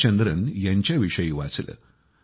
जयचंद्रन यांच्याविषयी वाचलं